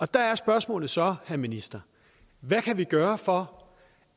der er spørgsmålet så minister hvad kan vi gøre for